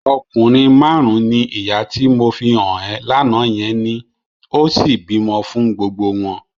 Ọkọ márùn-ún ni ìyá tí mo fi hàn ẹ́ lánàá yẹn ní, ó sì bímọ fún gbogbo wọn.